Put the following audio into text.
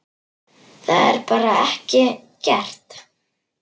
Það var bara ekki gert.